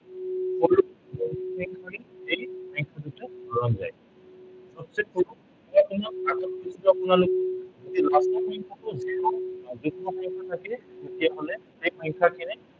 এতিয়া আমি কি কৰিম এই সংখ্য়া দুটা হৰণ যায়। সৱচে সৰু কোনটো আপোনাৰ এই last ৰ সংখ্য়াটো zero থাকে বা য়ুগ্ম সংখ্য়া থাকে, তেতিয়া হলে এই সংখ্য়াখিনি